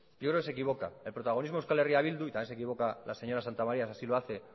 yo creo que se equivoca el protagonismo de euskal herria bildu y también se equivoca la señora santamaría esa sí lo hace